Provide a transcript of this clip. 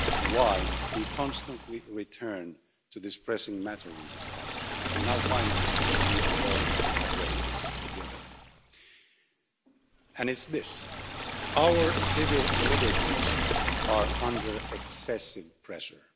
why we constantly return to this pressing matter in this House and now, finally, we are going to address it together and it's this our civil liberties are under excessive pressure.